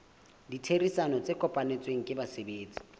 ditherisano tse kopanetsweng ke basebetsi